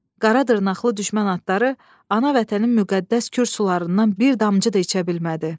Qara dırnaqlı düşmən atları ana vətənin müqəddəs Kür sularından bir damcı da içə bilmədi.